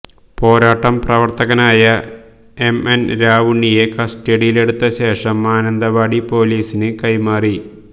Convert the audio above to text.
പോരാട്ടം പ്രവര്ത്തകനായ M N രാവുണ്ണിയെ കസ്റ്റഡിയിലെടുത്ത ശേഷം മാനന്തവാടി പോലീസിന് കൈമാറി